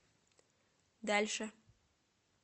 дальше